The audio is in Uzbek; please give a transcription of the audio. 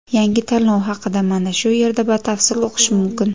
Yangi tanlov haqida mana shu yerda batafsil o‘qish mumkin.